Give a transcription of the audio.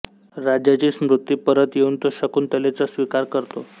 राजाची स्मृती परत येऊन तो शकुंतलेचा स्वीकार करतो